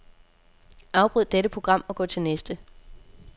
Afbryd dette program og gå til næste.